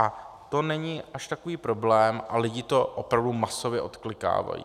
A to není až takový problém a lidi to opravdu masově odklikávají.